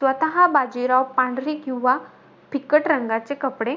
स्वतः बाजीराव पांढरे किंवा फिक्कट रंगाचे कपडे